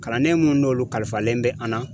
Kalanden mun n'olu kalifalen be an na.